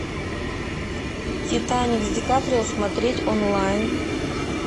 титаник с ди каприо смотреть онлайн